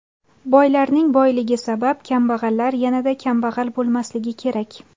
Boylarning boyligi sabab kambag‘allar yanada kambag‘al bo‘lmasligi kerak.